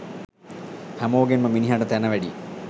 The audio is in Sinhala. හැමෝගෙන්ම මිනිහට තැන වැඩියි.